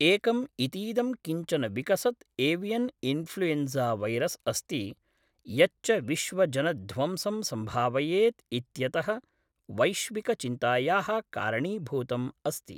एकम् इतीदं किञ्चन विकसत् एवियन् इन्फ्लूयेञ्ज़ावैरस् अस्ति यच्च विश्वजनध्वंसं सम्भावयेत् इत्यतः वैश्विकचिन्तायाः कारणीभूतम् अस्ति।